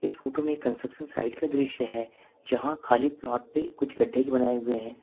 Photo में construction site का दृश्य है जहां खाली प्लॉट पर कुछ गड्ढे बनाए हुए हैं।